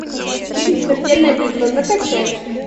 фильм смертельная битва закачай